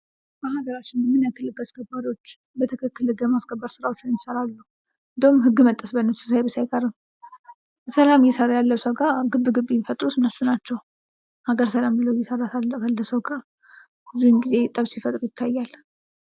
በሀገራችን ምን ያክል ህግ አስከባሪዎች በትክክል ህግ የማስከበር ስራዎችን ይሰራሉ ። እንዲያውም ህግ መጣስ በእነሱ ሳይብስ አይቀርም ። ስራ እየሰራ ያለ ሰው ጋር ግብ ግብ የሚፈጥሩት እነሱ ናቸው ።ሀገር ሰላም ብሎ እየሰራ ካለ ሰው ጋ ብዙውን ጊዜ ጠብ ሲፈጥሩ ይታያል።